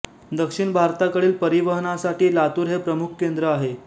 दक्षिण भारताकडील परिवहनासाठी लातुर हे प्रमुख केन्द्र आहे